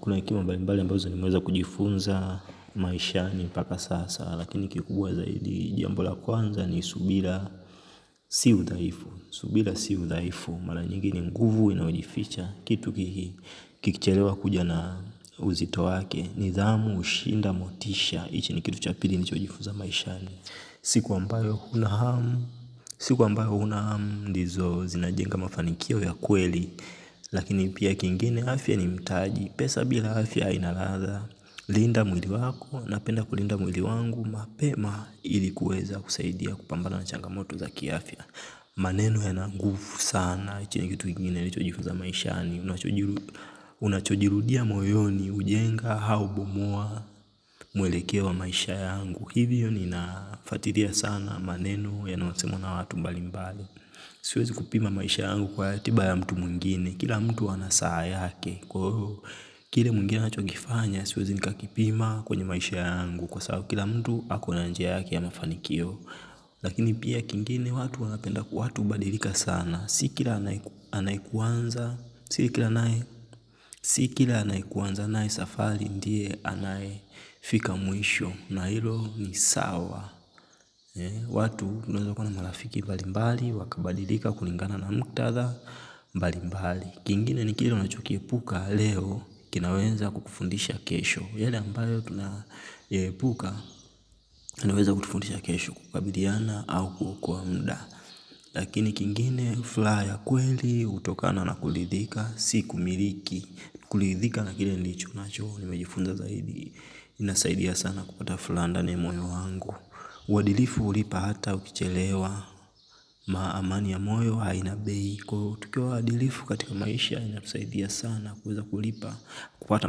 Kuna hekima mbalimbali ambazo nimeweza kujifunza maishani mpaka sasa. Lakini kikubwa zaidi jambo la kwanza ni subira si udhaifu. Subira si udhaifu. Mara nyigi ni nguvu inayojificha. Kitu kiki kilicherewa kuja na uzito wake. Nidhamu hushinda motisha hichi ni kitu cha pili nilichojifunza maishani. Siku ambayo kuna hamu siku ambayo huna hamu. Ndizo zinajenga mafanikio ya kweli lakini pia kingine afya ni mtaji. Pesa bila afya haina ladha. Linda mwili wako napenda kulinda mwili wangu mapema ili kuweza kusaidia kupambana na changamoto za kiafya. Maneno yana nguvu sana. Chini ya kitu ingine nilichojifunza maishani. Unachojirudia moyoni, hujenga, au bomua. Mwelekea wa maisha yangu. Hivyo ninafatiria sana maneno yanayosemwa na watu mbalimbali. Siwezi kupima maisha yangu kwa ratiba ya mtu mwengine. Kila mtu ana saa yake. Kile mwengine anachokifanya siwezi nikakipima kwenye maisha yangu. Kwa sabu kila mtu akona njia yake ya mafanikio lakini pia kingine. Watu wanapenda kwa watu hubadirika sana. Si kila anayekuanza si kila anayekuanza naye safari ndiye. Anayefika mwisho na hilo ni sawa. Watu tunaeza kuwa na marafiki mbalimbali wakabadilika kulingana na muktadha mbalimbali. Kingine ni kile unachokiepuka leo, kinaweza kukufundisha kesho. Yale ambayo tunaepuka, anaweza kutufundisha kesho kukabiliana au kuokoa mda. Lakini kingine, fulaha ya kweli, hutokana na kulidhika, si kumiriki. Kulidhika na kile nilicho nacho, nimejifunza zaidi. Inasaidia sana kupata fulaa ndani ya moyo wangu. Uadilifu hulipa hata ukichelewa amani ya moyo haina bei. Tukiwa waadilifu katika maisha. Inakusaidia sana kuweza kulipa. Kupata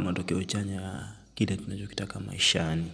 matokeo chanya. Kile tunachokitaka maishani.